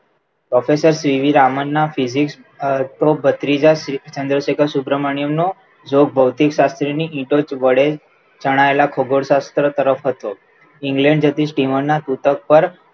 Professor CV રામનના physics અ ભત્રીજા શ્રી ચન્દ્રશેખર સુભ્ર્મન્યમ નો જો ભોતીક્શાસ્ત્રી ની ઈટો વડે ચણાયેલા ભૂગોળ શાસ્ત્ર તરફ હતો. England જતી steamer ના સુતક પર